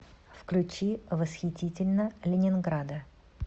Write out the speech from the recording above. включи восхитительно ленинграда